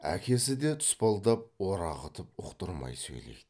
әкесі де тұспалдап орағытып ұқтырмай сөйлейді